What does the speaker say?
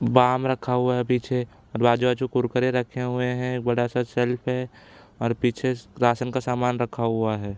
Balm रखा हुआ है पीछे। आजू-बाजू कुरकुरे रखे हुए है। बड़ा सा सेल्फ और पीछे रासन का सामान रखा हुआ है।